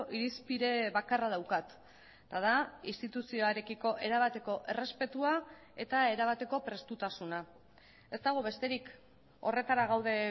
irizpide bakarra daukat eta da instituzioarekiko erabateko errespetua eta erabateko prestutasuna ez dago besterik horretara gaude